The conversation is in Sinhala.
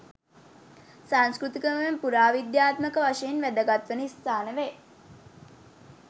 සංස්කෘතිකමය පුරාවිද්‍යාත්මක වශයෙන් වැදගත් වන ස්ථාන වේ